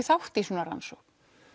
þátt í svona rannsókn